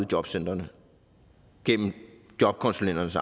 jobcentrene gennem jobkonsulenternes